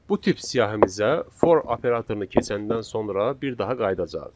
Bu tip siyahimizə for operatorunu keçəndən sonra bir daha qayıdacağıq.